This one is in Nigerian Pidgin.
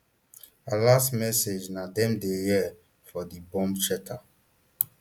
her last message na dem dey hia for di bomb shelter